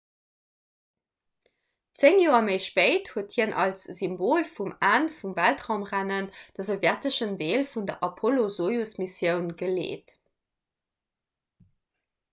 zéng joer méi spéit huet hien als symbol vum enn vum weltraumrennen de sowjeteschen deel vun der apollo-sojus-missioun geleet